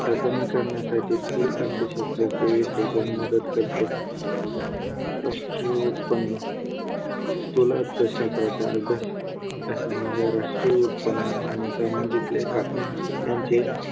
हे कमी करण्यासाठी स्थूल अर्थशास्त्राचे विश्लेषण मदत करते राष्ट्रीय उत्पन्न स्थूल अर्थशास्त्राचा अभ्यास अभ्यासामुळे राष्ट्रीय उत्पन्न आणि सामाजिक लेख्या यांचे